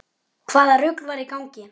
Hvaða rugl var í gangi?